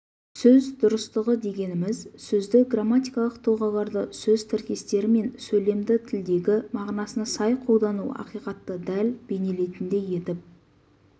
сөз дұрыстығы дегеніміз сөзді грамматикалық тұлғаларды сөз тіркестері мен сөйлемді тілдегі мағынасына сай қолдану ақиқатты дәл бейнелейтіндей етіп